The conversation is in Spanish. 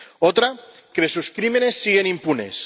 Otra, que sus crímenes siguen impunes